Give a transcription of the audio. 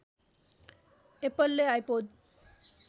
एप्पलले आइपोड